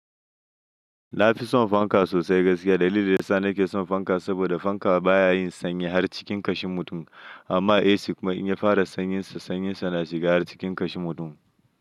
Na fi son fanka sosai gaskiya. Dalilin da ya sa na ke son fanka saboda fanka baya yin sanyi har cikin kashin mutum amma AC kuma in ya fara sanyinsa, sanyinsa na shiga har cikin kashin mutum.